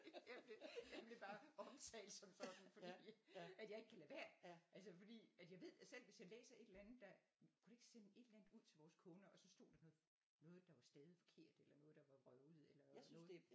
Jeg bliver jeg bliver bare omtalt som sådan fordi at jeg ikke kan lade være altså fordi at jeg ved at selv hvis jeg læser et eller andet der vi kunne da ikke sende et eller andet ud til vores kunder og så stod der noget noget der er stavet forkert eller noget der er vrøvlet eller noget